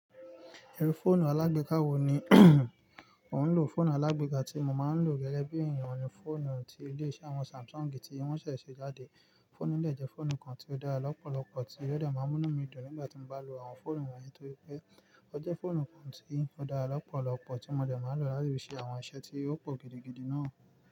Iru fóònù alágbéeka wo ni o ń lò? Fóònù alágbéeka tí mo máa ń lò gẹ́gẹ́ bí ènìyàn ni fóònù tí ilé iṣẹ́ àwọn Samsung tí wọ́n ṣẹ̀ ṣe jáde. Fóònù yìí dẹ̀ jẹ́ fóònù kan tí ó dára lọ́pọ̀lọpọ̀ tí ó dẹ̀ máa ń mú inu mí dùn nígbà tí mo bá lo àwọn fóònù wọ̀nyí, torí pé ọ jẹ́ fóònù kan tí ó dára lọ́pọ̀lọpọ̀ tí mo dẹ̀ máa n lò láti fi ṣe àwọn iṣẹ́ tí ó pò gidigidi náà.